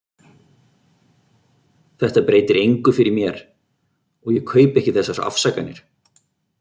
Þetta breytir engu fyrir mér- og ég kaupi ekki þessar afsakanir.